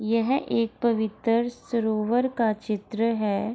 यह एक पवित्र सरोवर का चित्र है।